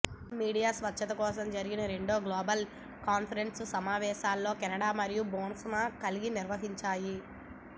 media స్వేచ్ఛ కోసం జరిగిన రెండవ గ్లోబల్ కాన్ఫరెన్స్ సమావేశాన్ని కెనడా మరియు బోట్స్వానా కలిసి నిర్వహించాయి